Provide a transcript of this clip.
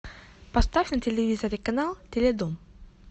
поставь на телевизоре канал теледом